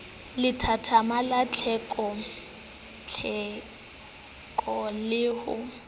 lethathama la tlhekatlheko le ho